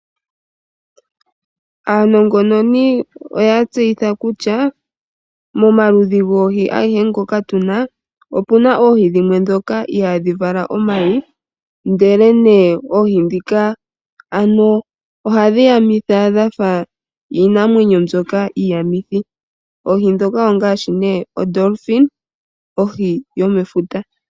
Aanongononi oya tseyitha kutya momaludhi gwoohi ageshe ngoka tuna opena oohi dhimwe dhoka ohadhi vala omahi ndele me ohadhi dhoka ohadhi yamitha dhafa iinamwenyo mbyoka iiyamithi. Oohi dhoka ongashi oDolfini ohi yomefuta.